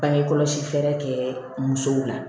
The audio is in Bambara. Bange kɔlɔsi fɛɛrɛ kɛ musow la